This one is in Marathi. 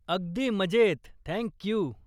अगदी मजेत. Thank you